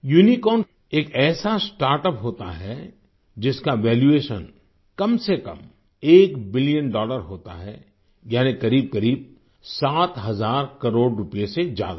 unicorn एक ऐसा startup होता है जिसका वैल्यूएशन कम से कम 1 बिलियन डॉलर होता है यानी करीबकरीब सात हज़ार करोड़ रूपए से ज्यादा